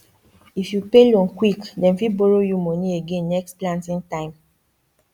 if you pay loan quick dem fit borrow you money again next planting time